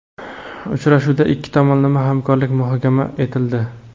Uchrashuvda ikki tomonlama hamkorlik muhokama etildi:.